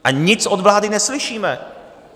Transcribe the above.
A nic od vlády neslyšíme.